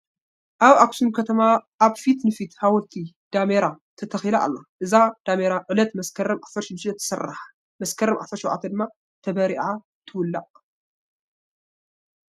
ኣብ ኣኽሱም ከተማ ኣብ ፊት ንፊት ሓወልቲ ዳሜራ ተተኺላ ኣላ፡፡ እዛ ዳሜራ ዕለት መስከረም 16 ትስራሕ፣ መስከረም 17 ድማ ተባሪኻ ትውላዕ፡፡